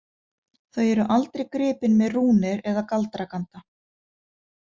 Þau eru aldrei gripin með rúnir eða galdraganda.